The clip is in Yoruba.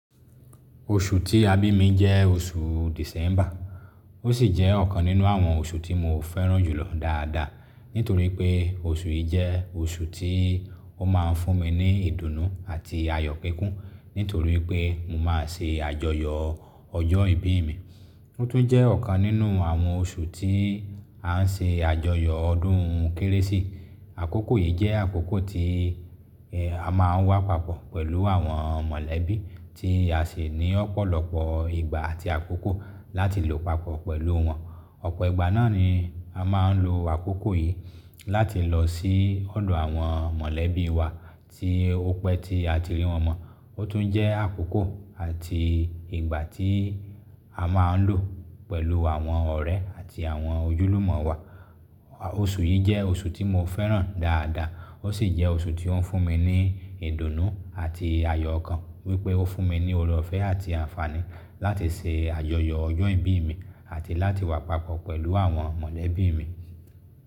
Oṣù tí a bí mi jẹ́ oṣù December. Ó sì jẹ́ ọ̀kan nínú àwọn oṣù tí mo fẹ́ràn jùlọ dáadáa. Nítorí pé oṣù yìí jẹ́ oṣù tí ó máa ń fún mi ní ìdùnnú àti ayọ̀ kíkún. Nítorí pé mo máa ń ṣe àjọyọ̀ ọjọ́ ìbí mi. Ó tún jẹ́ ọ̀kan nínú àwọn oṣù tí a ń ṣe àjọyọ̀ ọdún Kérésì. Àkókò yìí jẹ́ àkókò tí a máa ń wà papọ̀ pẹ̀lú àwọn mọ̀lẹ́bí tí a sì ní ọ̀pọ̀lọpọ̀ ìgbà àti àkókò láti lò papọ̀ pẹ̀lú wọn. Ọ̀pọ̀ ìgbà náà ni a máa ń lo àkókò yìí láti lọ sí ọ̀dọ̀ àwọn mọ̀lẹ́bí wa tí ó pẹ́ tí a ti rí wọn mọ. Ó tún jẹ́ àkókò àti ìgbà tí a máa ń lò pẹ̀lú àwọn ọ̀rẹ́ àti àwọn ojúlùmọ̀ wa. Oṣù yìí jẹ́ oṣù tí mo fẹ́ràn dáadáa. Ó sì jẹ́ oṣù tí ó ń fún mi ní ìdùnnú àti ayọ̀ ọkan. Wípé ó fún mi ní ọrè ọ̀fẹ́ àti àǹfààní láti ṣe àjọyọ̀ ọjọ́ ìbí mi àti láti wà papọ̀ pẹ̀lú àwọn mọ̀lẹ́bí mi.